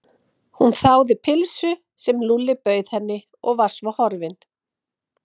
Hún þáði pylsu sem Lúlli bauð henni og var svo horfin.